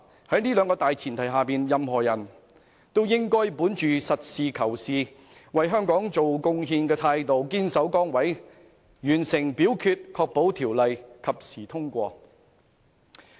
在這兩項大前提下，任何人也應該本着實事求是、為香港作出貢獻的態度堅守崗位，完成表決，確保《條例草案》及時通過。